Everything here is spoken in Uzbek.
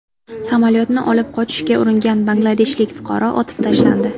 Samolyotni olib qochishga uringan bangladeshlik fuqaro otib tashlandi.